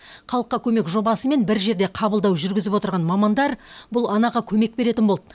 халыққа көмек жобасымен бір жерде қабылдау жүргізіп отырған мамандар бұл анаға көмек беретін болды